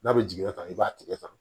N'a bɛ jigiya tan i b'a tigɛ tan